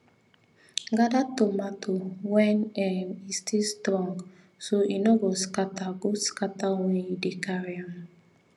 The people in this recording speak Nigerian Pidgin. gather tomato when um e still strong so e no go scatter go scatter when you dey carry am